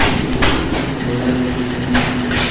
एक व्यक्ति एक झोला